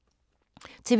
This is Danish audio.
TV 2